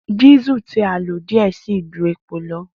Diesel ti a lo diẹ sii ju epo lọ.